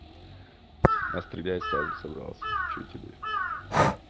пострелять сразу собрался че тебе